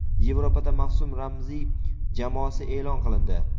Yevropada mavsum ramziy jamoasi e’lon qilindi.